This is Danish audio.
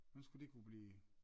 Hvordan skulle det kunne blive